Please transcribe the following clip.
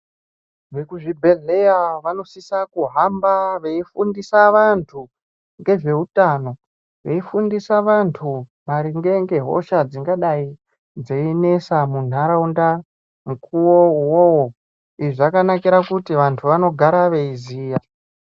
Vekuzibhedhleya vanosisa kuhamba veifundisa vantu ngezveutano veifundisa vantu maringe ngehosha dzingadai dzeinesa muntaraunda mukuwo uwowo izvi zvakanakira kuti vantu vanogara veiziya.